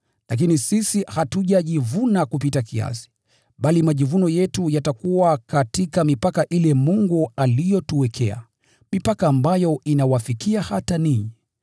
Lakini sisi hatujajivuna kupita kiasi, bali majivuno yetu yatakuwa katika mipaka ile Mungu aliyotuwekea, mipaka ambayo inawafikia hata ninyi.